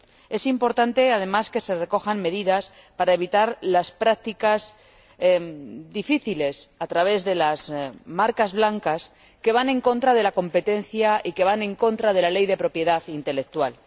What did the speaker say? Es importante, además, que se recojan medidas para evitar las prácticas difíciles a través de las marcas blancas que van en contra de la competencia y de la Ley de Propiedad Intelectual.